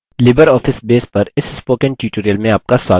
libreoffice base पर इस spoken tutorial में आपका स्वागत है